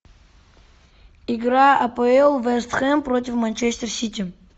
игра апл вест хэм против манчестер сити